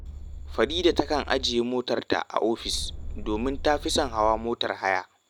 Farida takan ajiye motarta a ofis, domin ta fi son hawa motar haya